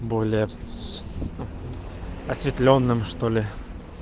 более осветлённым что ли